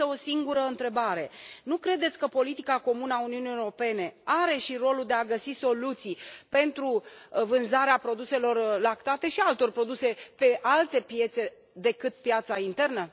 Am însă o singură întrebare nu credeți că politica comună a Uniunii Europene are și rolul de a găsi soluții pentru vânzarea produselor lactate și a altor produse pe alte piețe decât piața internă?